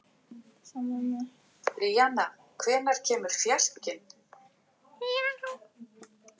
Á heimleiðinni sá Stjáni einn rauðmagann kasta til sporðinum.